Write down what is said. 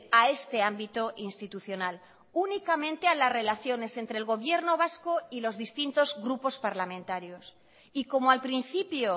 a este ámbito institucional únicamente a las relaciones entre el gobierno vasco y los distintos grupos parlamentarios y como al principio